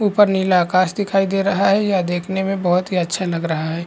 ऊपर नीला आकाश दिखाई दे रहा है यह देखने में बहुत ही अच्छा लग रहा है।